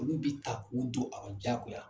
Olu be ta k'u do a rɔ diyagoya.